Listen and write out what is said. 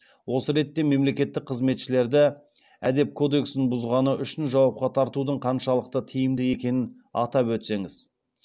осы ретте мемлекеттік қызметшілерді әдеп кодексін бұзғаны үшін жауапқа тартудың қаншалықты тиімді екенін атап өтсеңіз